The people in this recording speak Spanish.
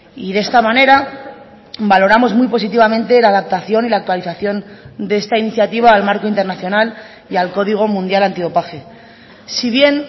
y de esta manera valoramos muy positivamente la adaptación y la actualización de esta iniciativa al marco internacional y al código mundial antidopaje si bien